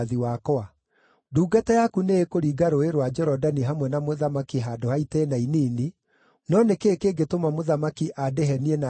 Ndungata yaku nĩĩkũringa Rũũĩ rwa Jorodani hamwe na mũthamaki handũ ha itĩĩna inini, no nĩ kĩĩ kĩngĩtũma mũthamaki andĩhe niĩ na njĩra ĩyo?